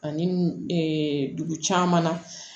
Ani dugu caman na